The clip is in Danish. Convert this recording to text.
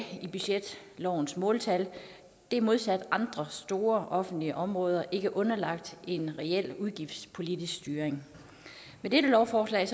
i budgetlovens måltal det er modsat andre store offentlige områder ikke underlagt en reel udgiftspolitisk styring med dette lovforslag